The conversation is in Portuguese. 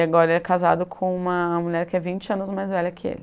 agora ele é casado com uma mulher que é vinte anos mais velha que ele.